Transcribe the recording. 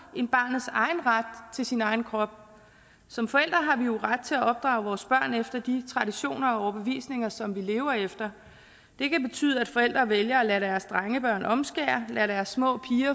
end barnets egen ret til sin egen krop som forældre har vi jo ret til at opdrage vores børn efter de traditioner og overbevisninger som vi lever efter det kan betyde at forældre vælger at lade deres drengebørn omskære lade deres små